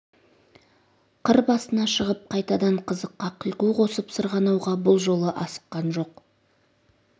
қыр басына шығып қайтадан қызыққа қиқу қосып сырғанауға бұл жолы асыққан жоқ